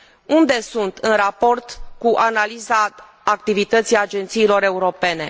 Unde sunt, în raport cu analiza activității agențiilor europene?